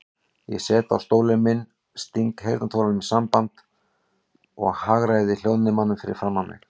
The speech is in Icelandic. Ég sest á stólinn minn, sting heyrnartólunum í sambandi og hagræði hljóðnemanum fyrir framan mig.